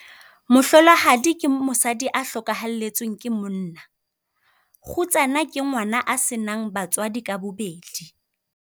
Mohlolohadi ke mosadi a hlokahalletsweng ke monna. Kgutsana ke ngwana a se nang batswadi ka bobedi.